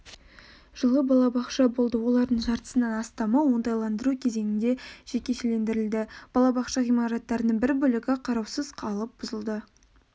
жылы балабақша болды олардың жартысынан астамы оңтайландыру кезеңінде жекешелендірілді балабақша ғимараттарының бір бөлігі қараусыз қалып бұзылды